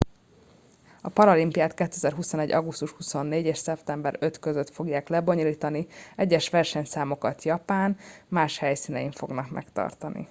a paralimpiát 2021. augusztus 24. és szeptember 5. között fogják lebonyolítani egyes versenyszámokat japán más helyszínein fognak megtartani